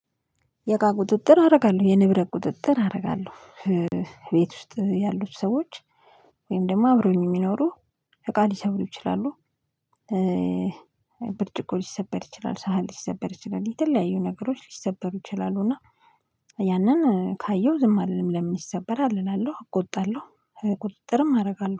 የእቃ ቁጥጥር አደርጋለሁ የንብረት ቁጥጥር አደርጋለሁ ቤት ውስጥ ያሉት ሰዎች ወይም ደግሞ አብረውኝ የሚኖሩ እቃ ሊሰብሩ ይችላሉ። ብርጭቆ ሊሰበር ይችላል፤ ሳህን ሊሰበር ይችላል፤ የተለያዩ ነገሮች ሊሰበሩ ይችላሉ። እና ያንን ካየው ዝም አልልለም ለምን ይሰበራል እላለሁ እቆጣለሁ። ቁጥጥርም አደርጋለሁ